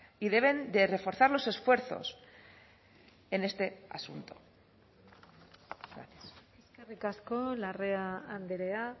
y deben de reforzar los esfuerzos en este asunto eskerrik asko larrea andrea